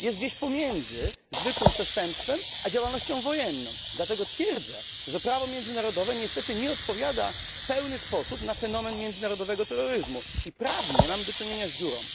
Sytuuje się gdzieś pomiędzy zwykłym przestępstwem, a działalnością wojenną, dlatego twierdzę, że prawo międzynarodowe niestety nie odpowiada w pełny sposób na fenomen międzynarodowego terroryzmu i prawnie mamy do czynienia z dziurą.